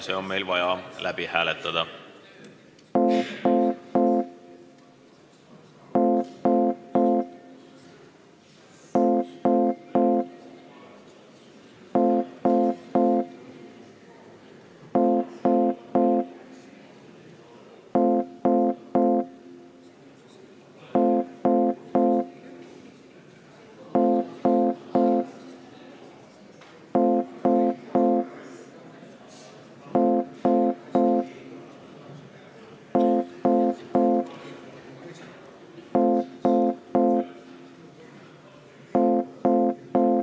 See on meil vaja läbi hääletada.